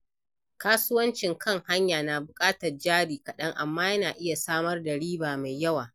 Kasuwancin kan hanya na buƙatar jari kaɗan, amma yana iya samar da riba mai yawa.